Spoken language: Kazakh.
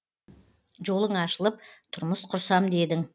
жолың ашылып тұрмыс құрсам дедің